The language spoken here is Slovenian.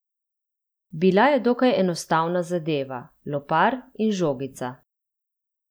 Bila je dokaj enostavna zadeva, lopar in žogica.